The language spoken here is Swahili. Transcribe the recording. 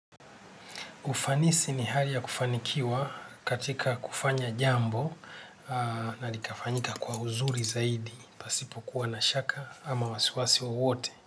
Ufanisi ni hali ya kufanikiwa katika kufanya jambo na likafanyika kwa uzuri zaidi, pasipokuwa na shaka ama wasiwasi wowote.